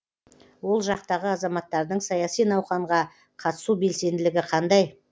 ол жақтағы азаматтардың саяси науқанға қатысу белсенділігі қандай